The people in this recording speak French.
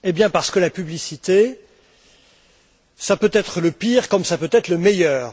Parce que la publicité, cela peut être le pire comme cela peut être le meilleur.